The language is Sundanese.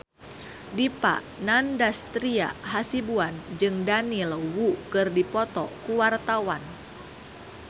Dipa Nandastyra Hasibuan jeung Daniel Wu keur dipoto ku wartawan